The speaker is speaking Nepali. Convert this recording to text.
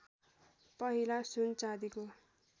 पहिला सुन चाँदीको